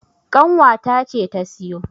ƙanwa ta ce ta siyo